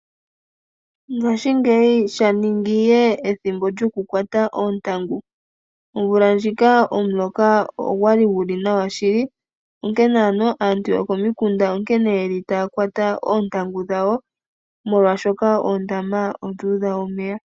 Ngaashingeyi sha ningi ihe ethimbo lyoku kwata oontangu . Ombula ndjika omuloka ogwali guli nawa shili onkene ano aantu yokomikunda onkene yeli taya kwata oontangu dhawo molwaashoka oondama odhu udha omeya.